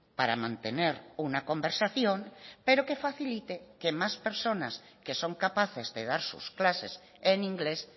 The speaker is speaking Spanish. para mantener una conversación pero que facilite que más personas que son capaces de dar sus clases en inglés